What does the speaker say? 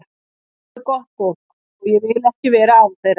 Þau eru gott fólk og ég vil ekki vera án þeirra.